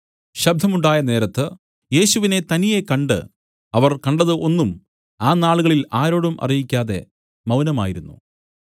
ശബ്ദം ഉണ്ടായ നേരത്ത് യേശുവിനെ തനിയേ കണ്ട് അവർ കണ്ടത് ഒന്നും ആ നാളുകളിൽ ആരോടും അറിയിക്കാതെ മൗനമായിരുന്നു